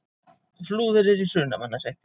Flúðir er í Hrunamannahreppi.